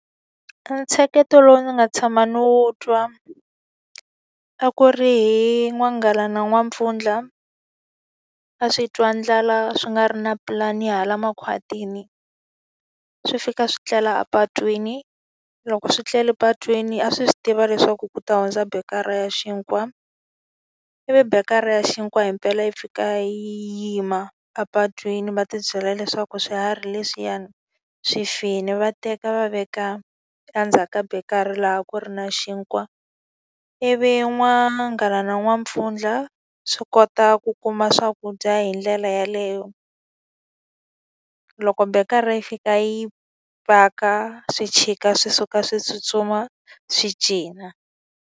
E ntsheketo lowu ndzi nga tshama no twa, a ku ri hi n'wanghala na n'wampfundla. A swi twa ndlala swi nga ri na pulani hala makhwatini, swi fika swi tlela a patwini. Loko swi tlele patwini a swi tiva leswaku ku ta hundza beyikara ra ya xinkwa, ivi beyikara ya xinkwa himpela yi fika yima apatwini va tibyela leswaku swiharhi leswiyani swi file, va teka va veka endzhaku ka beyikara laha ku ri na xinkwa. Ivi n'wanghala na n'wampfundla swi kota ku kuma swakudya hi ndlela yaleyo. Loko minkarhi yi fika yi paka, swi chika swi suka swi tsutsuma, swi cina.